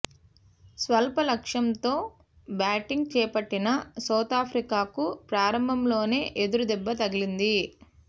స్వల్ప లక్షంతో బ్యాటింగ్ చేపట్టిన సౌతాఫ్రికాకు ప్రారంభంలోనే ఎదురు దెబ్బ తగిలింది